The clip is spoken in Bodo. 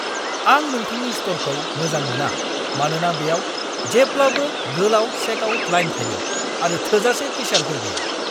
आं नोंथांनि स्ट'रखौ मोजां मोना मानोना बेयाव जेब्लाबो गोलाव चेकआउट लाइन थायो आरो थोजासे केशियारफोर गैया।